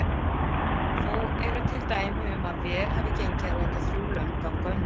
Þó eru til dæmi um að vel hafi gengið að láta þrjú lömb ganga undir.